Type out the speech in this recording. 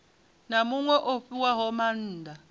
na muṅwe o fhiwaho maanda